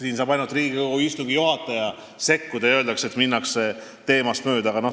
Siin saab ainult Riigikogu istungi juhataja sekkuda ja öelda, et minnakse teemast mööda.